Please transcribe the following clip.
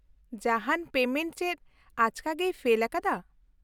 -ᱡᱟᱦᱟᱱ ᱯᱮᱢᱮᱱᱴ ᱪᱮᱫ ᱟᱪᱠᱟᱜᱮᱭ ᱯᱷᱮᱞ ᱟᱠᱟᱫᱟ ?